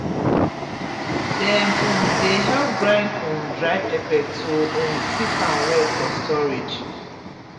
dem um dey help grind um dry pepper to um keep am well for storage